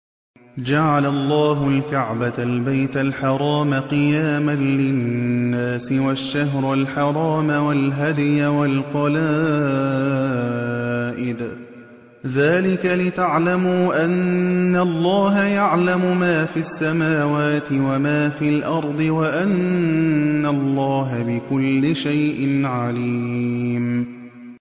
۞ جَعَلَ اللَّهُ الْكَعْبَةَ الْبَيْتَ الْحَرَامَ قِيَامًا لِّلنَّاسِ وَالشَّهْرَ الْحَرَامَ وَالْهَدْيَ وَالْقَلَائِدَ ۚ ذَٰلِكَ لِتَعْلَمُوا أَنَّ اللَّهَ يَعْلَمُ مَا فِي السَّمَاوَاتِ وَمَا فِي الْأَرْضِ وَأَنَّ اللَّهَ بِكُلِّ شَيْءٍ عَلِيمٌ